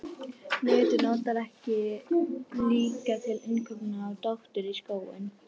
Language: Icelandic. netið nota þeir líka til innkaupa á dóti í skóinn